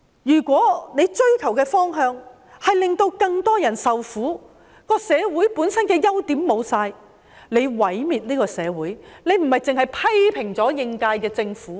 如果你追求的方向是令到更多人受苦，令到社會本身的優點全都失去，你這樣做是毀滅這個社會，而不單是批評應屆政府。